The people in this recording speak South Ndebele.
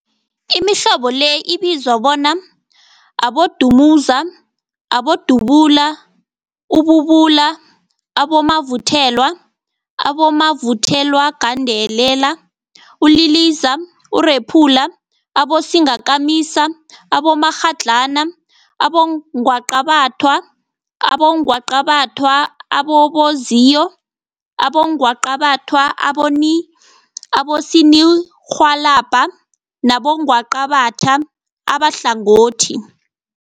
Imihlobo le ibizwa bona, Abodumuza, Abodubula, ububula, abomavuthelwa, abomavuthelwagandelela, uliliza, urephula, abosingakamisa, abomakghadlana, abongwaqabathwa, abongwaqabathwa ababozinyo, abongwaqabathwa abosininirhwalabha nabongwaqabatha abahlangothi.